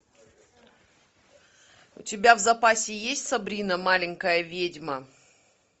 у тебя в запасе есть сабрина маленькая ведьма